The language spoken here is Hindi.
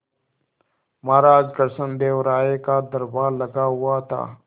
महाराज कृष्णदेव राय का दरबार लगा हुआ था